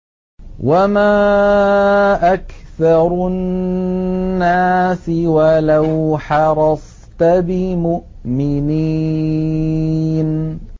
وَمَا أَكْثَرُ النَّاسِ وَلَوْ حَرَصْتَ بِمُؤْمِنِينَ